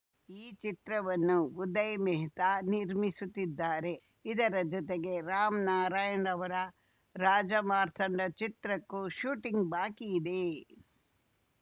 ಈ ಚಿತ್ರವನ್ನು ಉದಯ್‌ ಮೆಹ್ತಾ ನಿರ್ಮಿಸುತ್ತಿದ್ದಾರೆ ಇದರ ಜತೆಗೆ ರಾಮ್‌ನಾರಾಯಣ್‌ ಅವರ ರಾಜಾಮಾರ್ತಾಂಡ ಚಿತ್ರಕ್ಕೂ ಶೂಟಿಂಗ್‌ ಬಾಕಿ ಇದೆ